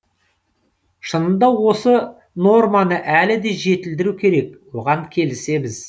шынында осы норманы әлі де жетілдіру керек оған келісеміз